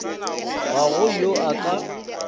ga go yo a ka